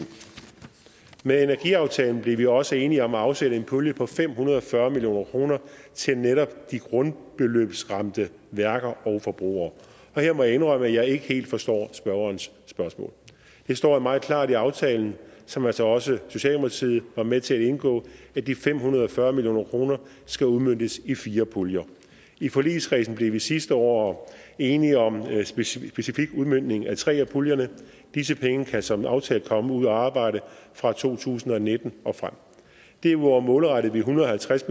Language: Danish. med energiaftalen blev vi også enige om at afsætte en pulje på fem hundrede og fyrre million kroner til netop de grundbeløbsramte værker og forbrugere og her må jeg indrømme at jeg ikke helt forstår spørgerens spørgsmål det står meget klart i aftalen som altså også socialdemokratiet var med til at indgå at de fem hundrede og fyrre million kroner skal udmøntes i fire puljer i forligskredsen blev vi sidste år enige om en specifik udmøntning af tre af puljerne disse penge kan som aftalt komme ud at arbejde fra to tusind og nitten og frem derudover målrettede vi en hundrede og halvtreds